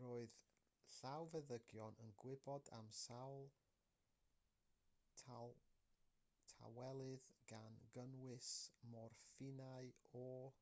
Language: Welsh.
roedd llawfeddygon yn gwybod am sawl tawelydd gan gynnwys morffinau o